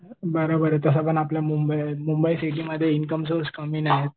बरोबर आहे तसं पण आपल्या मुंबई सिटीमध्ये इन्कम सोर्स कमी नाहीयेत.